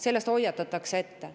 Sellest hoiatatakse ette.